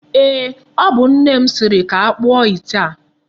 Eeh, o bu nne m siri ka akpụọ ite a.